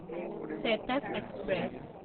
Chetak express